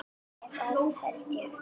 Eða það hélt ég!